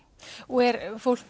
og er fólk